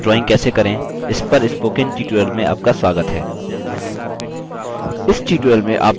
Libre office draw में सामान्य drawings कैसे करें इस पर spoken tutorial में आपका स्वागत है